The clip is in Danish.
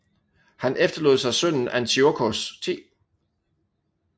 Han efterlod sig sønnen Antiochos 10